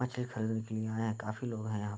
मछली खरीदने के लिए आये हैं काफी लोग हैं यहां।